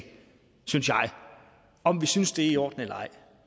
om vi synes det er i orden eller ej